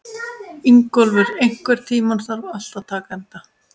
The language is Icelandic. Ingólfur, einhvern tímann þarf allt að taka enda.